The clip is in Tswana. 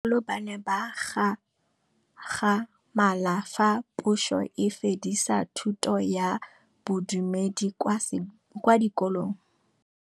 Bagolo ba ne ba gakgamala fa Pusô e fedisa thutô ya Bodumedi kwa dikolong.